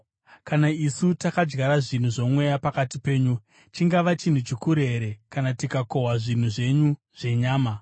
Kana isu takadyara zvinhu zvomweya pakati penyu, chingava chinhu chikuru here kana tikakohwa zvinhu zvenyu zvenyama?